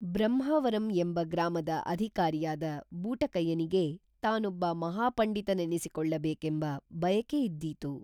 ಬ್ರಹ್ಮಾವರಂ ಎಂಬ ಗ್ರಾಮದ ಅಧಿಕಾರಿಯಾದ ಬೂಟಕಯ್ಯನಿಗೇ ತಾನೊಬ್ಬ ಮಹಾಪಂಡಿತ ನೆನಿಸಿ ಕೊಳ್ಳ ಬೇಕೇಂಬ ಬಯಕೇಯಿದ್ದಿತು